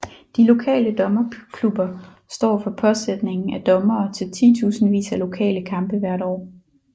De lokale dommerklubber står for påsætningen af dommere til titusindvis af lokale kampe hvert år